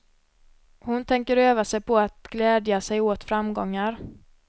Hon tänker öva sig på att glädja sig åt framgångar.